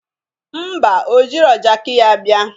Ḿbà, o jiro jaki ya bịa